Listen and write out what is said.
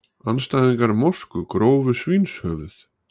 Andstæðingar mosku grófu svínshöfuð